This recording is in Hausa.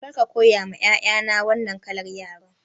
Kar ka koya ma 'ya'ya na wannan kalar yaren!